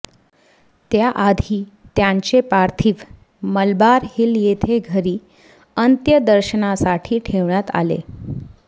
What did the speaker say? त्या आधी त्यांचे पार्थिव मलबार हिल येथे घरी अंत्यदर्शनासाठी ठेवण्यात आले